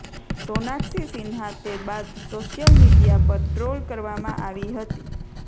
સોનાક્ષી સિન્હા તે બાદ social media પર ટ્રોલ કરવામાં આવી હતી